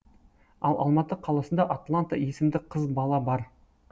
ал алматы қаласында атланта есімді қыз бала бар